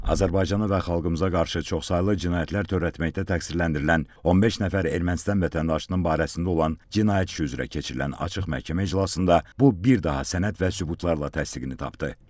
Azərbaycana və xalqımıza qarşı çoxsaylı cinayətlər törətməkdə təqsirləndirilən 15 nəfər Ermənistan vətəndaşının barəsində olan cinayət işi üzrə keçirilən açıq məhkəmə iclasında bu bir daha sənəd və sübutlarla təsdiqini tapdı.